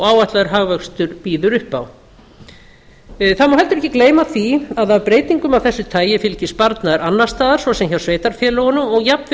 áætlaður hagvöxtur býður upp á það má heldur ekki gleyma því að af breytingum af þessu tagi fylgir sparnaður annars staðar svo sem hjá sveitarfélögunum og jafnvel